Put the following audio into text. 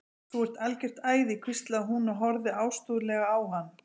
Þú ert algjört æði hvíslaði hún og horfði ástúðlega á hann.